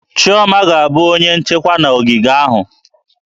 Chioma ga-abụ onye ọrụ nchekwa na ogige ahụ